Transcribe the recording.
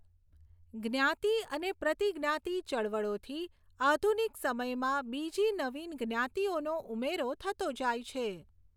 જ્ઞાતિ અને પ્રતિજ્ઞાતિ ચળવળોથી આધુનિક સમયમાં બીજી નવીન જ્ઞાતિઓનો ઉમેરો થતો જાય છે.